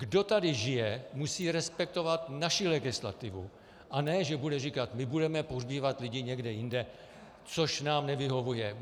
Kdo tady žije, musí respektovat naši legislativu, a ne že bude říkat: my budeme pohřbívat lidi někde jinde, což nám nevyhovuje.